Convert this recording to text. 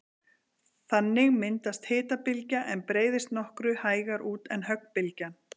Þannig myndast hitabylgja er breiðist nokkru hægar út en höggbylgjan.